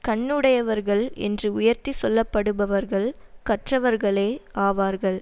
கண்ணுடையவர்கள் என்று உயர்த்திச் சொல்ல படுபவர்கள் கற்றவர்களே ஆவார்கள்